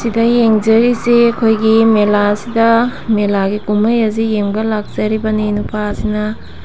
ꯁꯤꯗꯌꯦꯡꯖꯔꯤꯁꯦ ꯑꯩꯈꯣꯏꯒꯤ ꯃꯦꯂꯥꯁꯤꯗ ꯃꯦꯂꯥꯒꯤ ꯀꯨꯝꯍꯩ ꯑꯁꯤ ꯌꯦꯡꯕ ꯂꯥꯛꯆꯔꯤꯕꯅꯤ ꯅꯨꯄꯥ ꯑꯁꯤꯅ꯫